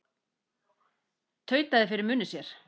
Tautaði fyrir munni sér.